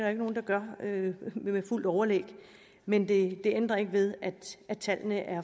er nogen der gør det med fuldt overlæg men det ændrer ikke ved at tallene er